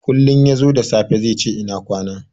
Kullin yazo da safe zaice ina kwana.